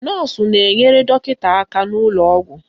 Nọọsụ na-enyere dọkịta aka n'ụlọ ọgwụ